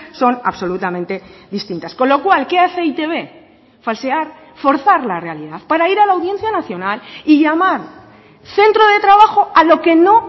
son absolutamente distintas con lo cual qué hace e i te be falsear forzar la realidad para ir a la audiencia nacional y llamar centro de trabajo a lo que no